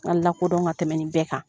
lakodɔn ka tɛmɛ nin bɛɛ kan.